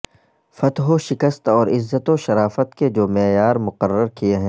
فتح و شکست اور عزت و شرافت کے جو معیار مقرر کئے ہیں